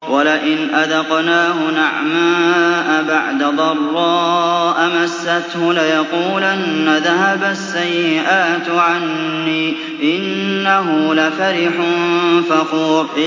وَلَئِنْ أَذَقْنَاهُ نَعْمَاءَ بَعْدَ ضَرَّاءَ مَسَّتْهُ لَيَقُولَنَّ ذَهَبَ السَّيِّئَاتُ عَنِّي ۚ إِنَّهُ لَفَرِحٌ فَخُورٌ